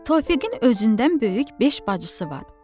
Tofiqin özündən böyük beş bacısı var.